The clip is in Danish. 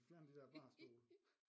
Hvis vi fjerner de dér barstole